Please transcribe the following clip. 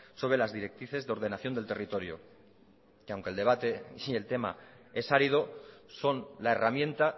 sobre las directrices de ordenación del territorio y aunque el debate y el tema es árido son la herramienta